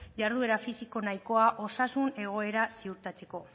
jarduera fisiko nahikoa osasun egoera ziurtatzeko